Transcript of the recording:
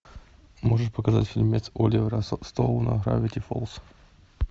можешь показать фильмец оливера стоуна гравити фолз